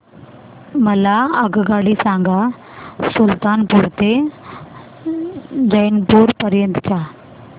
मला आगगाडी सांगा सुलतानपूर ते जौनपुर पर्यंत च्या